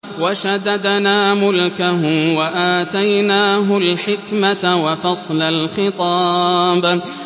وَشَدَدْنَا مُلْكَهُ وَآتَيْنَاهُ الْحِكْمَةَ وَفَصْلَ الْخِطَابِ